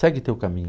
Segue o teu caminho.